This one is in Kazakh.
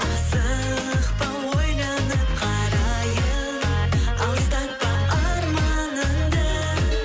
асықпа ойланып қарайын алыстатпа арманыңды